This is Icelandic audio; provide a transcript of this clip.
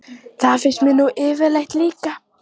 Það finnst mér nú yfirleitt líka.